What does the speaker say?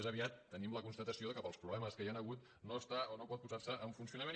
més aviat tenim la constata·ció que pels problemes que hi han hagut no està o no pot posar·se en funcionament